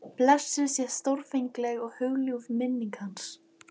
Blessuð sé stórfengleg og hugljúf minning hans.